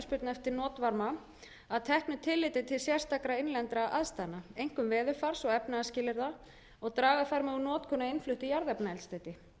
eftirspurn eftir notvarma að teknu tilliti til sérstakra innlendra aðstæðna einkum veðurfars og efnahagsskilyrða og draga þar með úr notkun á innfluttu jarðefnaeldsneyti